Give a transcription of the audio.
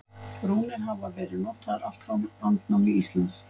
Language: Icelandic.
Rúnir hafa verið notaðar allt frá landnámi Íslands.